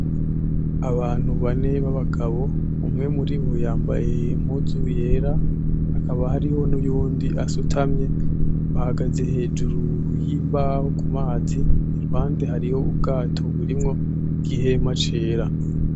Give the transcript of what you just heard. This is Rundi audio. Abantu bane b'abagabo umwe muribo yambaye Impuzu yera hakaba hariho n'uwundi asutamye bahagaze hejuru y'imbaho kumazi, iruhande harih'ubwato burimwo igihema cera.